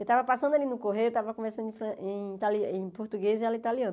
Eu estava passando ali no correio, eu estava conversando em itali em português e ela em italiano.